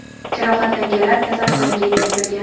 Jarohatlanganlar kasalxonaga yetkazilgan.